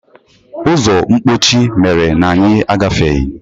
Ụzọ mkpọchi mere na anyị agafeghị.